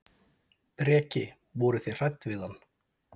Breki: Voruð þið hrædd við hann?